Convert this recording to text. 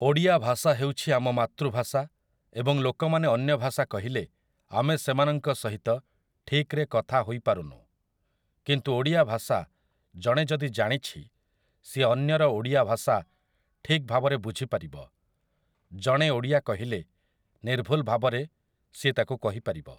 ଓଡ଼ିଆ ଭାଷା ହଉଛି ଆମ ମାତୃଭାଷା ଏବଂ ଲୋକମାନେ ଅନ୍ୟଭାଷା କହିଲେ ଆମେ ସେମାନଙ୍କ ସହିତ ଠିକରେ କଥା ହୋଇପାରୁନୁ । କିନ୍ତୁ ଓଡ଼ିଆ ଭାଷା ଜଣେ ଯଦି ଜାଣିଛି ସିଏ ଅନ୍ୟର ଓଡ଼ିଆ ଭାଷା ଠିକଭାବରେ ବୁଝିପାରିବ । ଜଣେ ଓଡ଼ିଆ କହିଲେ ନିର୍ଭୁଲ ଭାବରେ ସିଏ ତାକୁ କହିପାରିବ ।